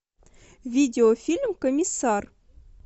видеофильм комиссар